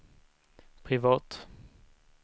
privat